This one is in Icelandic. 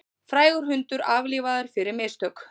Frægur hundur aflífaður fyrir mistök